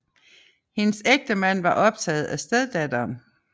Hendes ægtemand var optaget af steddatteren